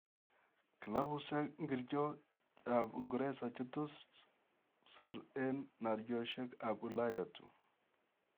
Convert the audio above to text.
Klabusiek ngircho ap uingeresa che tos siir eng' naaryosiyek ap ulaya tuun?